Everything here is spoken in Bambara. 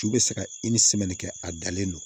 Ju bɛ se ka kɛ a dalen no